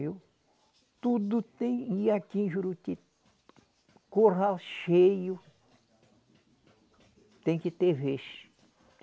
Viu, tudo tem. E aqui em Juruti, curral cheio, tem que ter vez.